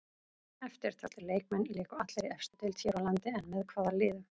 Eftirtaldir leikmenn léku allir í efstu deild hér á landi en með hvaða liðum?